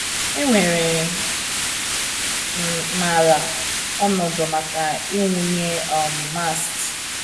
Enwere m m ala/ọnọdụ maka ịwụnye um Mast.